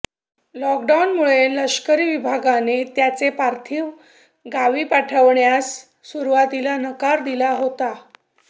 लॉकडाऊनमुळे लष्करी विभागाने त्यांचे पार्थिव गावी पाठवण्यास सुरुवातीला नकार दिला होता